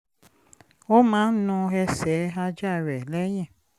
ó máa ń nu ẹsẹ̀ ajá rẹ̀ lẹ́yìn